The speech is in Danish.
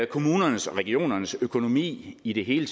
kommunernes og regionernes økonomi i det hele